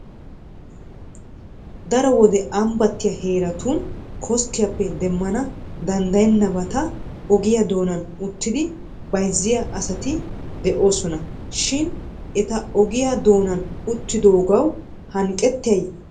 Daro wode ambbattiya heeratun koskkiyappe demmana dandayennabata ogiya doonan uttidi bayizziya asati de'oosona shin eta ogiya doonan uttadoogawu hanqqettiyay baawee?